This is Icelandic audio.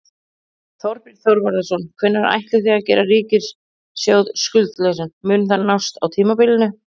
Þorbjörn Þórðarson: Hvenær ætlið þið að gera ríkissjóð skuldlausan, mun það nást á tímabilinu?